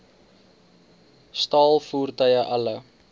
staal voertuie alle